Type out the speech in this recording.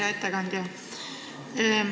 Hea ettekandja!